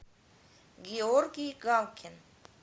георгий галкин